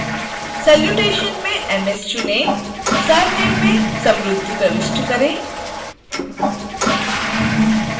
salutation में ms चुनें surname में samruddhi प्रविष्ट करें